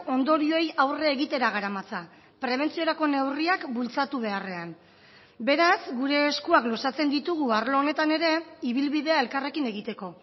ondorioei aurre egitera garamatza prebentziorako neurriak bultzatu beharrean beraz gure eskuak luzatzen ditugu arlo honetan ere ibilbidea elkarrekin egiteko